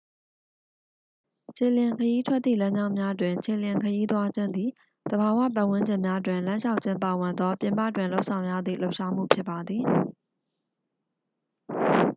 ခြေလျင်ခရီးထွက်သည့် လမ်းကြောင်းများတွင် ခြေလျင်ခရီးသွားခြင်းသည် သဘာဝ ပတ်ဝန်းကျင်များတွင် လမ်းလျှောက်ခြင်းပါဝင်သော ပြင်ပတွင်လုပ်ဆောင်ရသည့် လှုပ်ရှားမှုဖြစ်ပါသည်